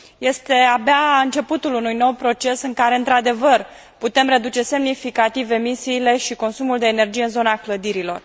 Este abia începutul unui nou proces în care, într adevăr, putem reduce semnificativ emisiile și consumul de energie în zona clădirilor.